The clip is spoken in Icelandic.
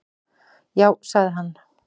Já, sagði hann.